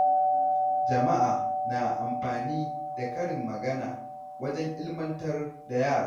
Jama'a na amfani da karin magana wajen ilimantar da yara.